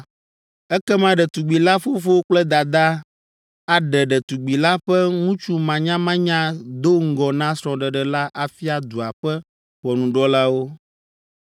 ekema ɖetugbi la fofo kple dadaa aɖe ɖetugbi la ƒe ŋutsumanyamanya do ŋgɔ na srɔ̃ɖeɖe la afia dua ƒe ʋɔnudrɔ̃lawo.